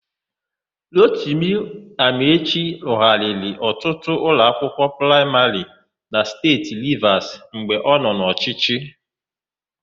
Rotimi Amaechi rụgharịrị ọtụtụ ụlọakwụkwọ praịmarị na Steeti Rivas mgbe ọ nọ n'ọchịchị.